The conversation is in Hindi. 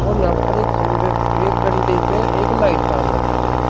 और यहां पर एक खंभे एक डंडे पे एक लाइट टांग रखी है।